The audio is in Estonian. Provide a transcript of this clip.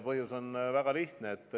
Põhjus on väga lihtne.